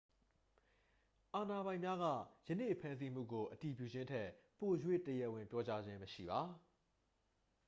အာဏာပိုင်များက ယနေ့ဖမ်းဆီးမှုကို အတည်ပြုခြင်းထက် ပို၍ တရားဝင်ပြောကြားမှုမရှိပါ